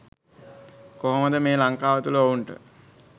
කොහොමද මේ ලංකාව තුල ඔවුන්ට